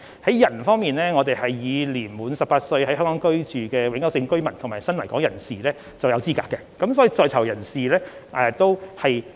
在人方面，年滿18歲、在香港居住的永久性居民及新來港人士均符合資格，所以在囚人士也包括在內。